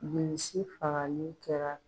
Bilisi fagali kɛra